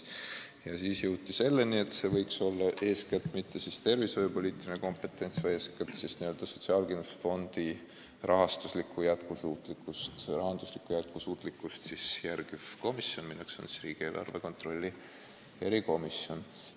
Ja siis jõuti arusaamani, et see inimene võiks esindada mitte niivõrd tervishoiupoliitilist kompetentsi, kuivõrd sotsiaalkindlustusfondi rahanduslikku jätkusuutlikkust jälgivat komisjoni ehk siis riigieelarve kontrolli erikomisjoni.